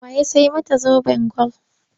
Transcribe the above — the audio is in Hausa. Wa ya sai mata zoben gwal?